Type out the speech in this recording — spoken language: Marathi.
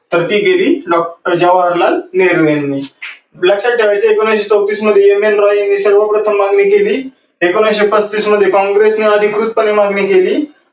तर ती केली डॉक्टर जवाहरलाल नेहरू यांनी. एकोणविसशे चौतीस मध्ये M N Roy यांनी सर्व प्रथम मागणी केली. एकोणविसशे पस्तीस मध्ये काँग्रेस ने अधिकृत पने मागणी केली. आणि एकोणविसशे अडोतीस मध्ये प्रौढ माताधीकारावर निवडून आलेली घटना समितीची मागणी कोणी केली